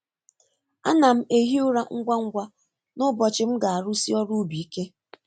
A na'm ehi ụra ngwa ngwa n’ụbọchị m ga-arụsi ọrụ ubi ike.